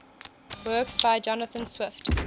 works by jonathan swift